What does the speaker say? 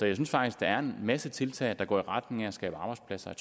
jeg synes faktisk der er en masse tiltag der går i retning af at skabe arbejdspladser